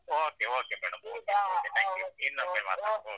Okay okay madam thank you ಇನ್ನೊಮ್ಮೆ ಮಾಡ್ತೇನೆ